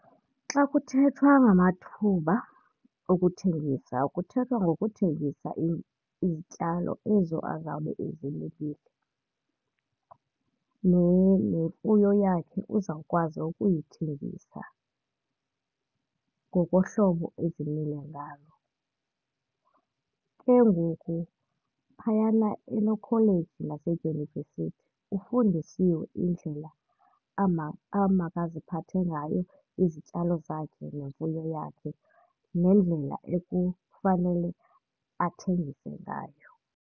Xa kuthethwa ngamathuba okuthengisa kuthethwa ngokuthengisa izityalo ezo bazawube bezilimile, nemfuyo yakhe uzawukwazi ukuyithengisa ngokohlobo ezimile ngalo. Ke ngoku phayana enokholeji nedyunivesithi ufundisiwe indlela amakaziphathe ngayo izityalo zakhe nemfuyo yakhe nendlela ekufanele athengise ngayo.